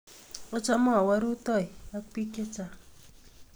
Achame awendi rutoi ak pik chechang'